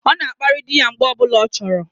O na akpari di ya mgbe o bula o choro